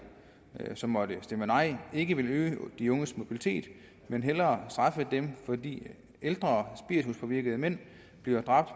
som måtte stemme nej ikke vil øge de unges mobilitet men hellere straffe dem fordi ældre spirituspåvirkede mænd bliver dræbt